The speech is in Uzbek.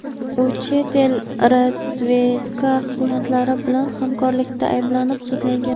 u chet el razvedka xizmatlari bilan hamkorlikda ayblanib sudlangan.